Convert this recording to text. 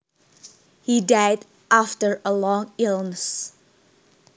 He died after a long illness